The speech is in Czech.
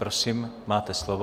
Prosím, máte slovo.